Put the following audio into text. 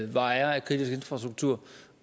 var ejer af kritisk infrastruktur